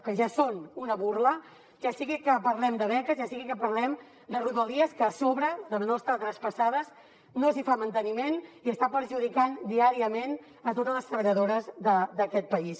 que ja són una burla ja sigui que parlem de beques ja sigui que parlem de rodalies que a sobre de no estar traspassades no s’hi fa manteniment i està perjudicant diàriament a totes les treballadores d’aquest país